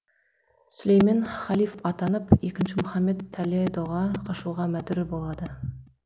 сүлеймен халиф атанып екінші мұхаммед таледоға қашуға мәдүр болады